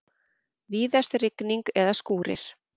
Víðast rigning eða skúrir